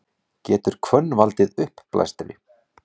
Getur hvönn valdið uppblæstri?